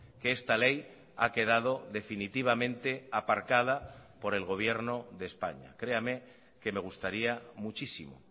que esta ley ha quedado definitivamente aparcada por el gobierno de españa créame que me gustaría muchísimo